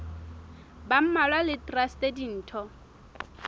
ba mmalwa le traste ditho